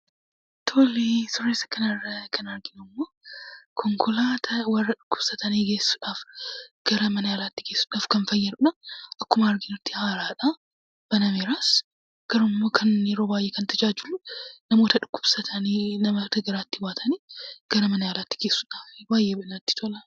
Suuraa isa kana irraa kan arginu immoo, konkolaataa warra dhukkubsatan geessuudhaaf gara mana yaalaatti geessuudhaaf kan fayyadudha. Akkuma arginu haaraadha, banameeras garuu immoo yeroo baayyee kan tajaajilu dhukkubsatanii namoota garaatti baatan gara mana yaalaatti geessuudhaaf baayyee namatti tola.